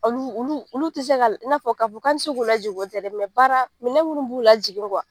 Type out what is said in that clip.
Olu olu ti se ka , i na fɔ ka fɔ kan te se k'u lajigin o tɛ dɛ, baara minɛn munnu b'u la jigin